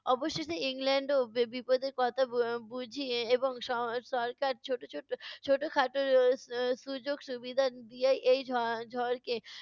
অবশেষে ইংল্যান্ড বিপদের কথা বু~ বুঝে এবং স~ সরকার ছোট ছোট ছোট-খাট স~ সু~ সুযোগ সুবিধা দিয়া এই ঝ~ এর ঝড়কে